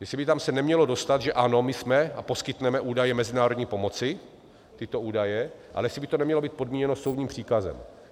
Jestli by se tam nemělo dostat že ano, my jsme a poskytneme údaje mezinárodní pomoci, tyto údaje, ale jestli by to nemělo být podmíněno soudním příkazem.